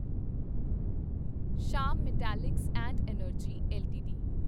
Shyam metallics and energy LTD